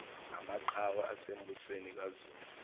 namaqhawe asembusweni kazulu